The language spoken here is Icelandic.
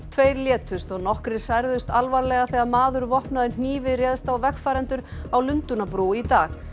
tveir létust og nokkrir særðust alvarlega þegar maður vopnaður hnífi réðst á vegfarendur á Lundúnabrú í dag